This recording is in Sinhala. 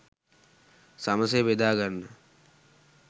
සමසේ බෙදාගන්න